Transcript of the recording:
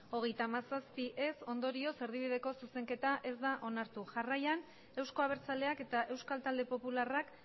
hogeita hamazazpi ondorioz erdibideko zuzenketa ez da onartu jarraian euzko abertzaleak eta euskal talde popularrak